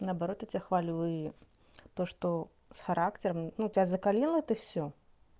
наоборот тебе хвалю и то что с характером ну тебя закалила ты всё